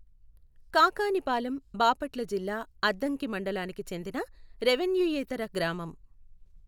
కాకానిపాలెం బాపట్ల జిల్లా అద్దంకి మండలానికి చెందిన రెెవెన్యూయేతర గ్రామం.